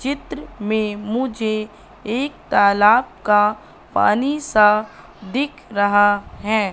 चित्र में मुझे एक तालाब का पानी सा दिख रहा है।